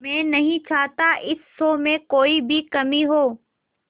मैं नहीं चाहता इस शो में कोई भी कमी हो